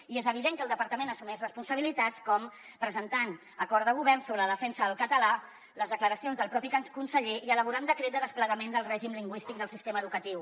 i és evident que el departament assumeix responsabilitats com presentar acord de govern sobre la defensa del català les declaracions del propi conseller i elaborar un decret de desplegament del règim lingüístic del sistema educatiu